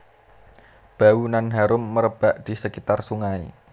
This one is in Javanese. Bau nan harum merebak di sekitar sungai